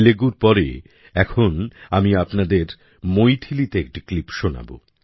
তেলেগুর পরে এখন আমি আপনাকে মৈথিলীতে একটি ক্লিপ শোনাব